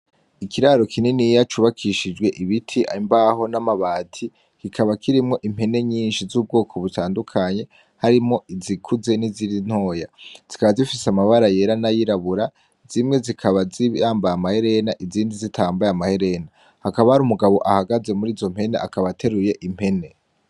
Ikiraro kininiya cubakishijwe ibiti, imbaho namabati kikaba kirimwo impene nyinshi zubwoko butandukanye, harimwo izikuze nantoya , zikaba zifise amabara yera nayirabura, zimwe zikaba zambaye amaherena, izindi zitambaye amaherena. Hakaba harumugabo ahagaze akaba ateruye impene.